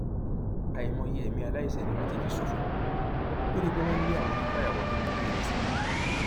àìmọye ẹmí aláìṣẹ ni wọn ti fi ṣòfò lórí pé wọn ń lé àwọn onífàyàwọ tó ń kó ìrẹsì wọlẹ